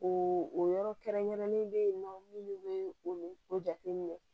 O o yɔrɔ kɛrɛnkɛrɛnnen bɛ yen nɔ minnu bɛ o jateminɛ